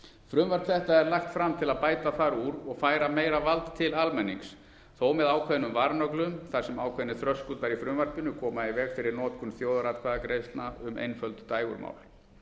frumvarp þetta er lagt fram til að bæta þar úr og færa meira vald til almennings þó með ákveðnum varnöglum þar sem ákveðnir þröskuldar í frumvarpinu koma í veg fyrir notkun þjóðaratkvæðagreiðslna um einföld dægurmál